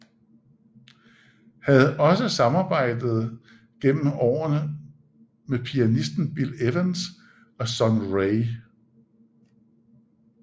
Havde også samarbejde gennem årene med pianisten Bill Evans og Sun Ra